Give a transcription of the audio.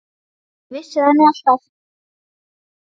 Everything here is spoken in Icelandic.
Ég vissi það nú alltaf.